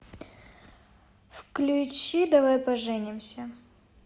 включи давай поженимся